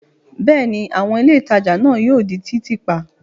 Bẹ́ẹ̀ ni, àwọn ilé ìtajà náà yóò di títì pa.